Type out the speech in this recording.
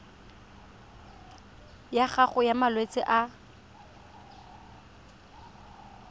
ya gago ya malwetse a